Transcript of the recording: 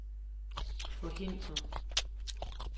forhindre